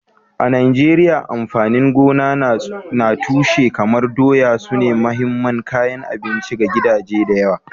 A Najeriya, amfanin gona na tushe kamar doya sune mahimman kayan abinci ga gidaje da yawa.